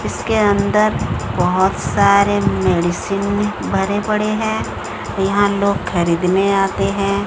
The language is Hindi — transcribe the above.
उसके अंदर बहोत सारे मेडिसिन भरे पड़े हैं यहां लोग खरीदने आते हैं।